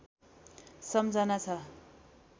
सम्झना छ